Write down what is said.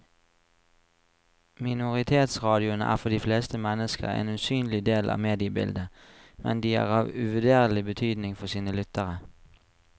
Minoritetsradioene er for de fleste mennesker en usynlig del av mediebildet, men de er av uvurderlig betydning for sine lyttere.